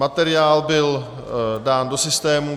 Materiál byl dán do systému.